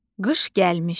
Qış gəlmişdi.